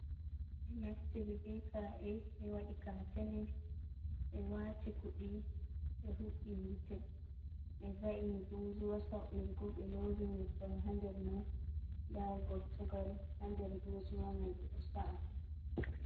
Be naftiri be ka e be wadi katene be wati kudi be hubi yite be va’ini bozuwa sa’irgu be lowi nyebbam ha nder mai da gortogal hander bozuma mai be do sa’a.